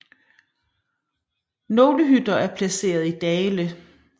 Nogle hytter er placeret i dale